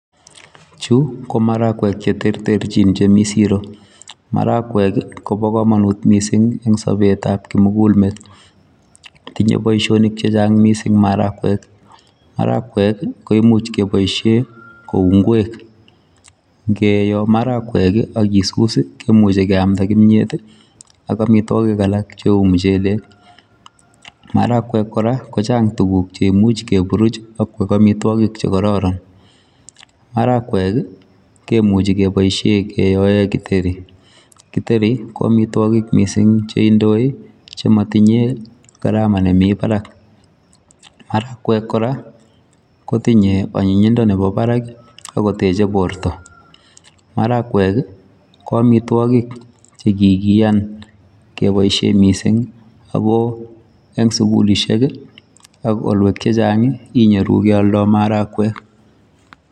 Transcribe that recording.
Chu ko maragwek che terterchin chemi siro. Maragwek, kobo komonut missing eng' sobetab kimugulmet. Tinye boisonik chechang' missing maragwek. Maragwek, ko imuch keboisie kou ngwek. Ngeyoo maragwek akisus, kemuche keamda kimyet ak amitwogik alak cheu muchelek. Maragwek kora kochang' tuguk che imuch keburuch, akoek amitwogik che kararan. Maragwek, kemuchi keboisie keoe githeri. Githeri, ko amitwogik missing che indoi, che matinye karama nemii barak. Maragwek kora, kotinye anyinyindo nebo barak, agoteche borto. Maragwek, ko amitwogik che kikiyan keboisie missing ago eng' sugulisiek, ak olwek chechang', inyoru kealdoi maragwek